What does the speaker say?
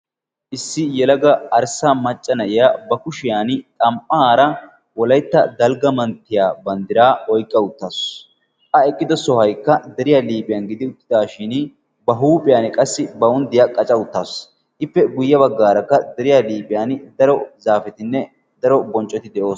issi yalaga arssaa macca na'iya ba kushiyan xam'aara wolaytta dalgga manttiya banddiraa oyqqa uttaasu. a eqqido sohaykka deriyaa liiphiyan gidi uttidaashin ba huuphiyan qassi bawuddiyaa qaca uttaasu. ippe guyye baggaarakka deriyaa liiphiyan daro zaafetinne daro bonccoti de'oosona.